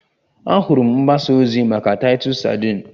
Ahụrụ m mgbasa ozi maka Titus sadin